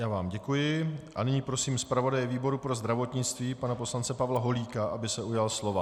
Já vám děkuji a nyní prosím zpravodaje výboru pro zdravotnictví pana poslance Pavla Holíka, aby se ujal slova.